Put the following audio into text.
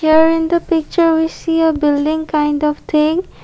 there in the picture we see a building kind of thing.